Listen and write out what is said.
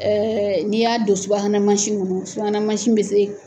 n'i y'a don subahana mansi nunnu subahana mansi be se